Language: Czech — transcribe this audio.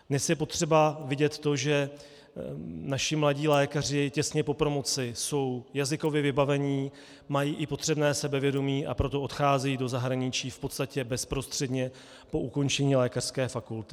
Dnes je potřeba vidět to, že naši mladí lékaři těsně po promoci jsou jazykově vybavení, mají i potřebné sebevědomí, a proto odcházejí do zahraničí v podstatě bezprostředně po ukončení lékařské fakulty.